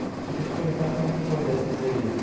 Queria te perguntar como é que foi dar essa entrevista?